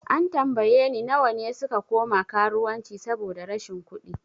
An tambaye ni nawa ne suka koma karuwanci saboda rashin kudi?